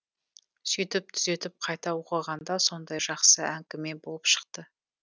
сөйтіп түзетіп қайта оқығанда сондай жақсы әңгіме болып шықты